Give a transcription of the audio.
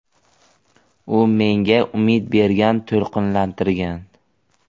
U menga umid bergan, to‘lqinlantirgan.